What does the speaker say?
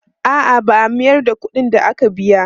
A'a, ba a mayar da kuɗin da aka biya.